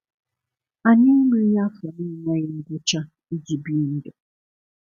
Anyị enweghị afọ na-enweghị ngwụcha iji bie ndu.